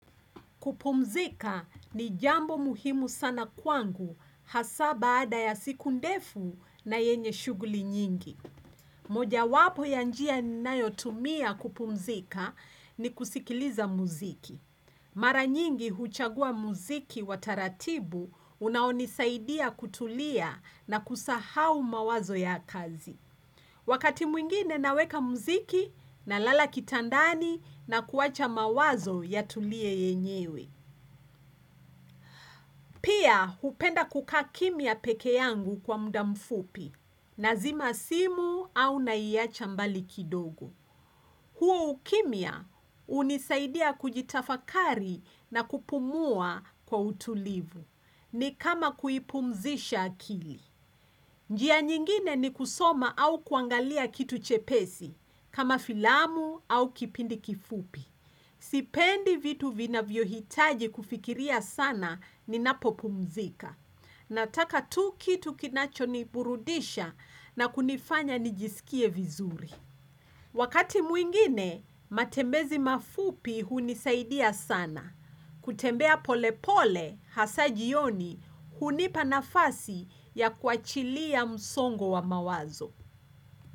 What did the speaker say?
Kupumzika ni jambo muhimu sana kwangu hasa baada ya siku ndefu na yenye shughuli nyingi. Moja wapo ya njia ninayo tumia kupumzika ni kusikiliza muziki. Mara nyingi huchagua muziki wa taratibu unaonisaidia kutulia na kusahau mawazo ya kazi. Wakati mwingine naweka muziki nalala kitandani na kuwacha mawazo yatulie yenyewe. Pia, hupenda kukaa kimya peke yangu kwa muda mfupi, nazima simu au naiacha mbali kidogo. Huo ukimya hunisaidia kujitafakari na kupumua kwa utulivu, ni kama kuipumzisha akili. Njia nyingine ni kusoma au kuangalia kitu chepesi, kama filamu au kipindi kifupi. Sipendi vitu vinavyohitaji kufikiria sana ninapopumzika. Nataka tu kitu kinacho niburudisha na kunifanya nijisikie vizuri. Wakati mwingine, matembezi mafupi hunisaidia sana. Kutembea pole pole hasa jioni hunipa nafasi ya kuachilia msongo wa mawazo.